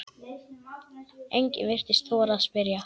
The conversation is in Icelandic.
Enginn virtist þora að spyrja